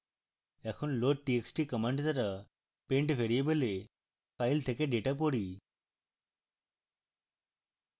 এখন loadtxt command দ্বারা pend ভ্যারিয়েবলে file থেকে ডেটা পড়ি